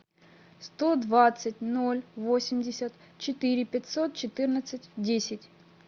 сто двадцать ноль восемьдесят четыре пятьсот четырнадцать десять